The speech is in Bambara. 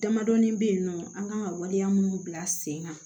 Damadɔnin bɛ yen nɔ an kan ka waleya minnu bila sen kan